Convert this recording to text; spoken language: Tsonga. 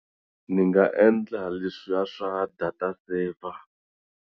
Ni nga endla leswiya swa data-saver.